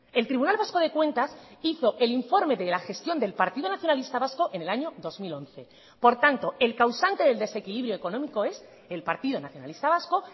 el tribunal vasco de cuentas hizo el informe de la gestión del partido nacionalista vasco en el año dos mil once por tanto el causante del desequilibrio económico es el partido nacionalista vasco